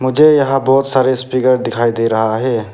मुझे यहां बहोत सारे स्पीकर दिखाई दे रहा है।